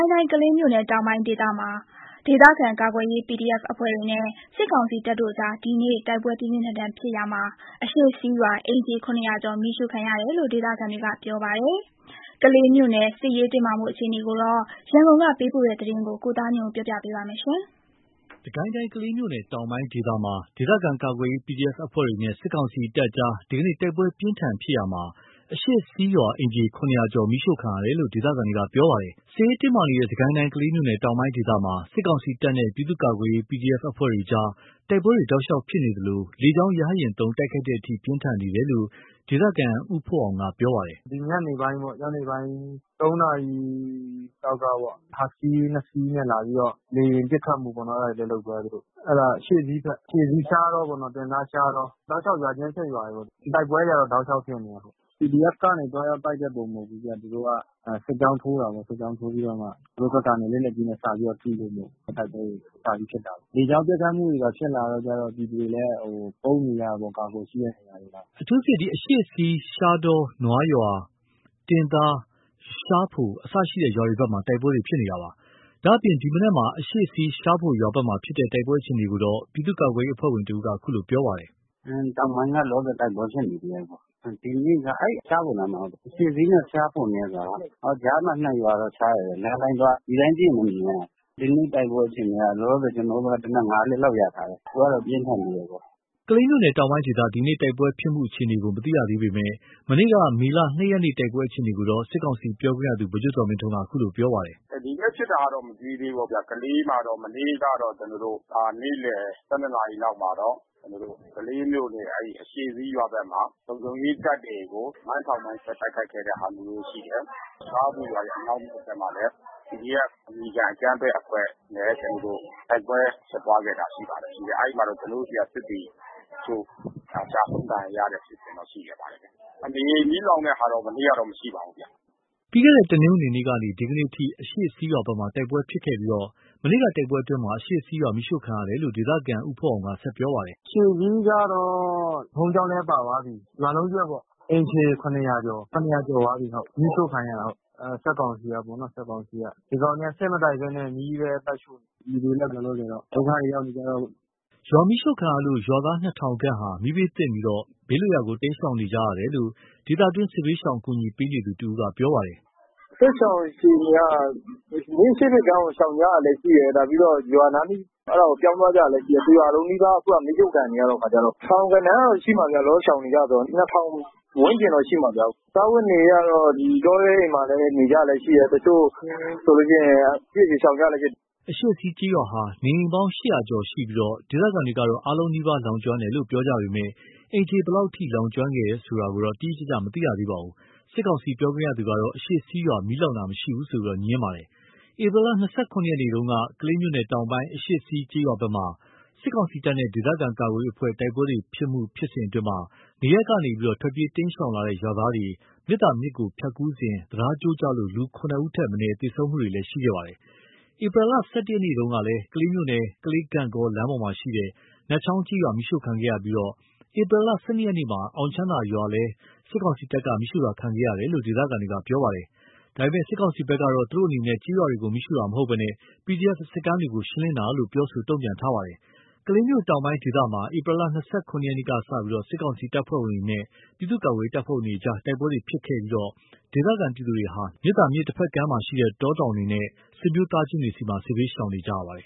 င်းတိုင်း ကလေးမြို့နယ်တောင်ပိုင်းဒေသမှာ ဒေသခံကာကွယ်ရေး PDF အဖွဲ့တွေနဲ့ စစ်ကောင်စီတပ်အကြား ဒီနေ့ တိုက်ပွဲပြင်းထန်ဖြစ်ရာမှာ အရှေ့စည်းရွာ အိမ်ခြေ ကျော် မီးရှို့ခံရတယ်လို့ ဒေသခံတွေကပြောပါတယ်။ ကလေးမြို့နယ်စစ်ရေးတင်းမာမှုအခြေအနေကိုတော့ ရန်ကုန် ကပေးပို့တဲ့သတင်းကို ကိုသားညွန့်ဦးက တင်ပြပေးထားပါတယ်။ စစ်ရေးတင်းမာနေတဲ့ စစ်ကိုင်းတိုင်း ကလေးမြို့နယ်တောင်ပိုင်းဒေသမှာ စစ်ကောင်စီတပ်နဲ့ ပြည်သူ့ ကာကွယ်ရေး PDF အဖွဲ့တို့ကြား တိုက်ပွဲတောက်လျှောက်ဖြစ်နေသလို လေကြောင်းရဟတ်ယဉ်သုံး တိုက်ခိုက်တဲ့အထိ ပြင်းထန်နေတယ်လို့ ဒေသခံ ဦးဖိုးအောင်ကပြောပါတယ်။ “ဒီညနေပိုင်းပေါ့။ ညနေပိုင်း နာရီလောက်ကပေါ့။ ဟိုက်စကီးနှစ်စီးနဲ့လာပြီးတော့ လေယာဉ်ပစ် ခတ်မှုပေါ့နော်။ အဲဒါ လုပ်သွားတယ်သူတို့။ အဲဒါ အရှေ့စည်းဘက်။ အရှေ့စည်းရှားတောပေါ့နော်။တင်သား-ရှားတော။ တောက်လျှောက် ရွာချင်းဆက်ရွာတွေ။ တိုက်ပွဲတွေက တောက်လျှောက်ဖြစ်နေတယ်။ PDF က တိုက်တဲ့ပုံစံမျိုးတော့မဟုတ်ဘူး။ သူတို့က စစ်ကြောင်းထိုးတာပေါ့။ စစ်ကြောင်းထိုးပြီးတော့မှ သူတို့ဘက်က လက်နက်ကြီးနဲ့စပြီးတော့ ပစ်လွှတ်တယ်။ တိုက်ပွဲတွေစပြီးဖြစ်လာတယ်။ လေကြောင်းပစ်ခတ်မှုတွေ ဖြစ်လာတဲ့အခါကျတော့ ပြည်သူတွေလည်း ပုန်းနေရတာပေါ့။ အကာကွယ်ယူပြီးတော့။” အထူးသဖြင့် အရှေ့စီး၊ ရှားတော၊ နွားရွာ၊ တင်သား၊ ရှားဖို-အစရှိတဲ့ရွာတွေဘက်မှာ တိုက်ပွဲဖြစ်ပွါးနေတာပါ။ ဒါ့အပြင် ဒီမနက်မှာ အရှေ့စီး-ရှားဖိုရွာဘက်ဖြစ်ပွါးတဲ့ တိုက်ပွဲအခြေအနေကိုတော့ ပြည်သူ့ကာကွယ်ရေးအဖွဲ့ဝင် တဦးက အခုလို ပြောပါတယ်။ “တောင်ပိုင်းကလည်း လောလောဆယ်တိုက်ပွဲဖြစ်နေတယ်။ ဒီနေ့လည်း အဲဒီရှားဖိုနားမှာ။ အရှေ့စီးနဲ့ ရှားဖိုနဲ့က ကြားမှာ နှစ်ရွာတော့ခြားတယ်။ လမ်းအတိုင်းသွား ဒီအတိုင်းကြည့်မြင်နေရတယ်။ ဒီကနေ့ တိုက်ပွဲအခြေအနေက လောလောဆယ် ကျနော်တို့ဘက် သေနတ် လက်လောက်ရထားတယ်။ တိုက်ပွဲကပြင်းထန်နေသေးတာပေါ့။” ကလေးမြို့နယ်တောင်ပိုင်းဒေသ ဒီနေ့တိုက်ပွဲဖြစ်ပွါးမှုအခြေအနေကို မသိရသေးပေမယ့် မနေ့ကမေလ ရက်နေ့ တိုက်ပွဲအခြေအနေကိုတော့ စစ်ကောင်စီပြောခွင့်ရ ဗိုလ်ချုပ်ဇော်မင်းထွန်းက အခုလိုပြောပါတယ်။ “ဒီနေ့ဖြစ်တာတော့ မသိသေးဘူးပေါ့ဗျာ။ ကလေးမှာတော့ မနေ့ကတော့ ကျနော်တို့ နေ့လယ် နာရီလောက်မှာတော့ ကလေးမြို့နယ်အရှေ့စီးရွာဘက်မှာ လုံခြုံရေးတပ်တွေကို မိုင်းဆွဲ တိုက်ခိုက်ခဲ့တဲ့ဟာ ရှိတယ်။ ရှားဖိုရွာရဲ့အနောက်တောင်ဘက်မှာလည်း PDF အမည်ခံအကြမ်းဖက်အဖွဲ့နဲ့ တိုက်ပွဲဖြစ်ပွါးခဲ့တာရှိပါတယ်။ အဲဒီမှာတော့ ကျနော်တို့ဆီက စစ်သည်တချို့ ကျဆုံးဒဏ်ရာရခဲ့တာရှိပါတယ်။ နေအိမ်မီးလောင်တဲ့ဟာတော့ မနေ့ကမရှိခဲ့ပါဘူး။” ပြီးခဲ့တဲ့တနင်္ဂနွေကနေ ဒီကနေ့အထိ အရှေ့စည်းရွာဘက်မှာတိုက်ပွဲဖြစ်ပွါးခဲ့ပြီး မနေ့ကတိုက်ပွဲအတွင်းအရှေ့စီးရွာ မီးရှို့ခံရတယ်လို့ ဒေသခံဦးဖိုးအောင်ကဆက်ပြောပါတယ်။ “အရှေ့စည်းကတော့ ဘုန်းကြီးကျောင်းလည်းပါသွားပြီး။ ရွာလုံးကျွတ်ပေါ့။ အိမ်ခြေ ကျော်။ ကျော်သွားပြီ၊ မီးရှို့ခံရတာ။ စစ်ကောင်စီကပေါ့နော်။ စစ်ကောင်စီက။ ဒီကောင်တွေကစစ်မတိုက်ဘဲနဲ့ မီးပဲတိုက်နေတယ်။ ပြည်သူတွေလည်း လောလောဆယ်တော့ ဒုက္ခတွေရောက်ပြီပေါ့။” ရွာမီးရှို့ခံရလို ရွာသားနှစ်ထောင်ခန့်ဟာ မီးဘေးသင့်ပြီး ဘေးလွတ်ရာတိမ်းရှောင်နေကြရတယ်လို့ ဒေသတွင်းစစ်ဘေးရှောင်အကူညီပေးသူတဦးကပြောပါတယ်။ “စစ်ရှောင်အခြေအနေက ၄၈၂ ကျောင်းကိုရှောင်နေကြတယ်လို့သိရတယ်။ ပြီးတော့ရွာနားလေး အဲဒါကို ပြောင်းသွားကြတယ်လို့သိရတယ်။ တရွာလုံးနီးပါး မီးရှို့ခံရတဲ့အခါကျတော့။ ထောင်ဂဏန်းလောက်ရှိမယ်ဗျ။ လောလောဆယ် ရှောင်နေကြတော့။ ဝန်းကျင်တော့ရှိမှာဗျ။ စားဝတ်နေရေးက တောထဲမှာလည်း နေနေကြတာရှိတယ်။ တချို့ဆိုလို့ ရှိ ရင် ကိုယ့်ဟာကိုယ် ရှောင်ကြတာပဲ။” အရှေ့စီးကျေးရွာဟာ နေအိမ်ပေါင်း ကျော်ရှိပြီး ဒေသခံတွေကတော့ အားလုံးနီးပါးလောင် ကျွမ်းတယ်လို့ ပြောကြပေမယ့် အိမ်ခြေဘယ်လောက်အထိ လောင်ကျွမ်းခဲ့တာကိုတော့ တိတိကျကျ မသိရသေးပါဘူး။ စစ်ကောင်စီ ပြောခွင့်ရကတော့ အရှေ့စီးရွာမီးလောင်တာ မရှိဘူးလို့ပြောပါတယ်။ ဧပြီလ နေ့တုန်းက ကလေးမြို့နယ်တောင်ပိုင်း အရှေ့စီးကျေးရွာဘက်မှာ စစ်ကောင်စီတပ်နဲ့ဒေသခံကာကွယ်ရေးအဖွဲ့တို့ တိုက်ပွဲဖြစ်စဉ်အတွင်း နေရပ်ကနေ ထွက်ပြေးတိမ်းရှောင်လာတဲ့ ရွာသားတွေ မြစ်သာမြစ်ကို ဖြတ်ကူးစဉ် တံတားကျိုးကျလို့ လူ ဦးထက်မနည်း သေဆုံးမှုတွေဖြစ်ပွါးခဲ့ပါတယ်။ ဧပြီလ ရက်နေ့တုန်းကလည်း ကလေးမြို့နယ်၊ ကလေး-ဂန့်ဂေါလမ်းမပေါ်မှာရှိတဲ့ နတ်ချောင်းကျေးရွာမီးရှို့ခံခဲ့ရပြီး ဧပြီလ ရက်နေ့မှာ အောင်ချမ်းသာရွာကိုလည်း စစ်ကောင်စီတပ်က မီးရှို့ခဲ့တယ်လို့ဒေသခံတွေကပြောပါတယ်။ ဒါပေမယ့် စစ်ကောင်စီဘက်ကတော့ သူတို့အနေနဲ့ကျေးရွာကိုမီးရှို့တာမဟုတ်ဘဲ PDF စခန်းတွေကို ရှင်းလင်းတာလို့ ပြောဆိုခဲ့ပါတယ်။ ကလေးမြို့တောင်ဘက်ဒေသမှာ ဧပြီလ ရက်နေ့မှစပြီး စစ်ကောင်စီတပ်ဖွဲ့ဝင်တွေနဲ့ ပြည်သူ့ ကာကွယ်ရေးတပ်ဖွဲ့ဝင်တွေကြား တိုက်ပွဲဖြစ်ပွားခဲ့ပြီး ဒေသခံပြည်သူဟာ မြစ်သာမြစ်တဘက်ကမ်းရှိ တောတောင်တွေမှာနဲ့ ဆွေမျိုးသားချင်းတွေဆီမှာ စစ်ဘေးရှောင်နေကြရပါတယ်